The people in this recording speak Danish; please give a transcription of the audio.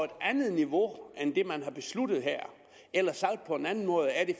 andet niveau end det man har besluttet her eller sagt på en anden måde er det